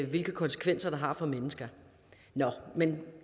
hvilke konsekvenser det har for mennesker nå men